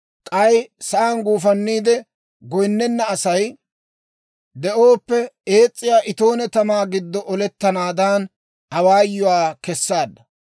k'ay sa'aan guufanniide goynnena Asay de'ooppe, ees's'iyaa itoone tamaa giddo olettanaadan awaayuwaa kessaadda.